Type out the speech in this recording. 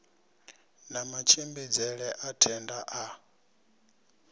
na matshimbidzele a thenda a